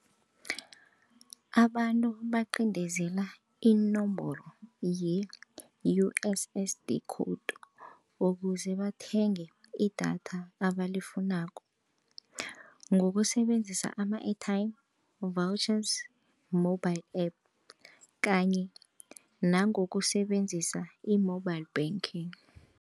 Abantu bacindezela inomboro ye-U_S_S_D code ukuze bathenge idatha abalifunako ngokusebenzisa ama-airtime, vouchers, mobile app kanye nangokusebenzisa i-mobile banking.